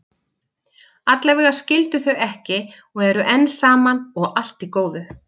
Allavega skildu þau ekki og eru enn saman, og allt í góðu.